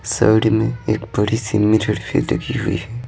Side मेंएक बड़ी सी मिरर भि लगी हुई है।